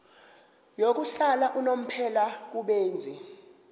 yokuhlala unomphela kubenzi